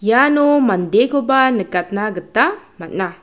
iano mandekoba nikatna gita man·a.